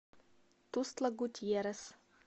тустла гутьеррес